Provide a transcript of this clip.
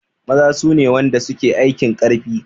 Maza sune wanda suke aikin karfi